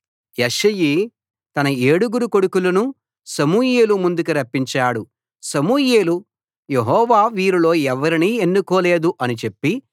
యెష్షయి తన ఏడుగురు కొడుకులనూ సమూయేలు ముందుకి రప్పించాడు సమూయేలు యెహోవా వీరిలో ఎవరినీ ఎన్నుకోలేదు అని చెప్పి